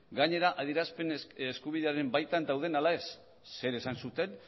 gainera adierazpen eskubidearen baitan dauden ala ez zer esan zuten